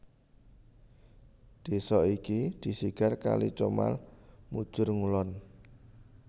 Desa iki disigar kali Comal mujur ngulon